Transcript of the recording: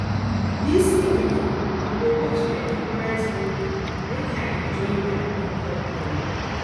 dis evening i go watch my favorite movie make i enjoy my own company